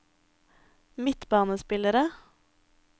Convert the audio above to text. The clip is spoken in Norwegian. midtbanespillere